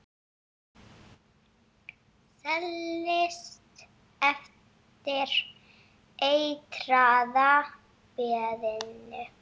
Seilist eftir eitraða peðinu.